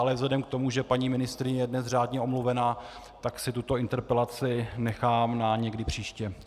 Ale vzhledem k tomu, že paní ministryně je dnes řádně omluvená, tak si tuto interpelaci nechám na někdy příště.